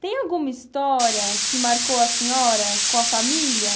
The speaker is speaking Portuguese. Tem alguma história que marcou a senhora com a família?